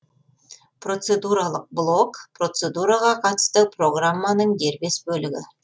процедуралық блок процедураға қатысты программаның дербес бөлігі